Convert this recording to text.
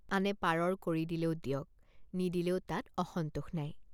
আনে পাৰৰ কড়ি দিলেও দিয়ক নিদিলেও তাত অসন্তোষ নাই।